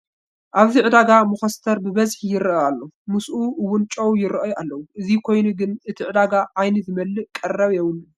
ኣብዚ ዕዳጋ መኾስተር ብብዝሒ ይርአ ኣሎ፡፡ ምስኡ እውን ጨው ይርአዩ ኣለዉ፡፡ እዚ ኮይኑ ግን እቲ ዕዳጋ ዓይኒ ዝመልእ ቀረብ የብሉን፡፡